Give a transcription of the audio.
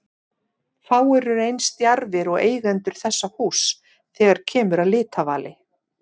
Fáir eru eins djarfir og eigendur þessa húss þegar kemur að litavali.